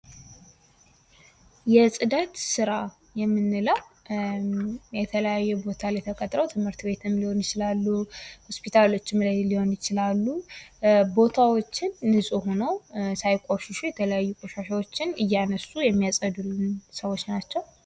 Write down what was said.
የጽዳት ስራ የምንለው የተለያዩ ቦታዎች ላይ ተቀጥረው ትምህርት ቤትም ሊሆን ይችላል፥ ሆስፒታሎችም ላይ ሊሆኑ ይችላሉ ቦታዎችን ንጹህ ሆነው ሳይቆስሹ የተለያዩ ቆሻሻዎችን እያስወገዱ እያነሱ የሚያጸዱልን ሰዎች ናቸው።